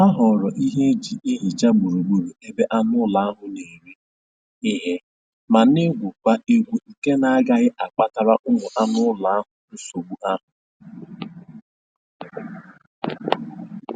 Ha họọrọ ihe e ji ehicha gburu gburu ebe anụ ụlọ na-eri ihe ma na-egwukwa egwu nke na-agaghị akpatara ụmụ anụ ụlọ nsogbu ahụ